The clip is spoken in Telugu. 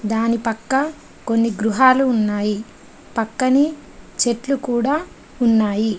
దాని పక్క కొన్ని గృహాలు ఉన్నాయి. పక్కనే చెట్లు కూడా ఉన్నాయి.